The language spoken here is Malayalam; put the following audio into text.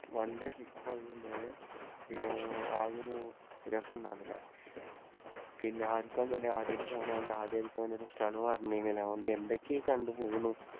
one day trip അയതുകൊണ്ടുതന്നെ പിന്നെ ആകെ ഒരു രസമുണ്ടായിരുന്നില്ല. പിന്നെ ആർക്കും തന്നെ ആദ്യമായിട്ട് പോകുന്നതുകൊണ്ട് പറഞ്ഞിനി. അതുകൊണ്ട് എന്തൊക്കെയോ കണ്ടു പോന്നു.